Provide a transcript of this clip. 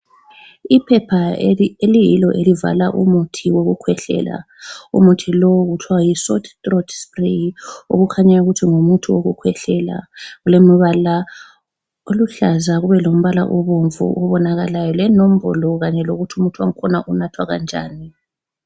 Iphepha eliyilo elivala umuthi wokukhwehlela. Umuthi lo kuthiwa yi Sore throat spray okukhanyayo ukuthi ngumuthi wokukhwehlela. Ulemibala oluhlaza kube lombala obomvu okubonakalayo lenombolo kanye lokuthi umuthi wakhona unathwa kanjani.